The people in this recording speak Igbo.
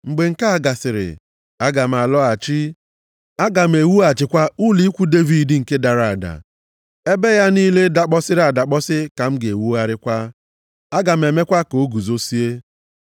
“ ‘Mgbe nke a gasịrị, aga m alọghachi, aga m ewughachikwa ụlọ ikwu Devid nke dara ada. Ebe ya niile dakpọsịrị adakpọsị ka m ga-ewugharịkwa, aga m emekwa ka ọ guzozie,